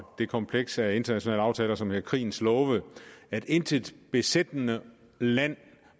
det kompleks af internationale aftaler som er krigens love at intet besættende land